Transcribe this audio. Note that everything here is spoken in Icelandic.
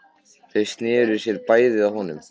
Þau sneru sér bæði að honum.